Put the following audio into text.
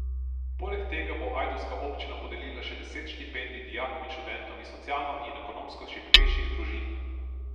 Poleg tega bo ajdovska občina podelila še deset štipendij dijakom in študentom iz socialno in ekonomsko šibkejših družin.